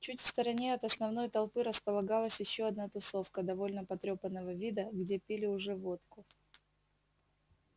чуть в стороне от основной толпы располагалась ещё одна тусовка довольно потрёпанного вида где пили уже водку